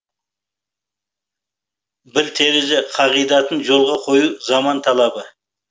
бір терезе қағидатын жолға қою заман талабы